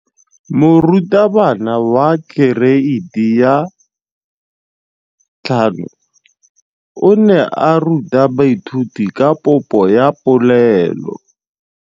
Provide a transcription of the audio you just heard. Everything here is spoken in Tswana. Moratabana wa kereiti ya 5 o ne a ruta baithuti ka popô ya polelô.